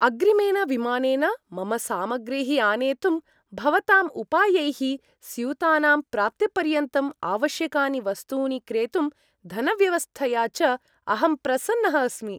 अग्रिमेन विमानेन मम सामाग्रीः आनेतुं भवताम् उपायैः, स्यूतानां प्राप्तिपर्यन्तम् आवश्यकानि वस्तूनि क्रेतुं धनव्यवस्थया च, अहं प्रसन्नः अस्मि।